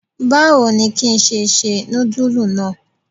Báwo ni ki ṣe se nudulu náà?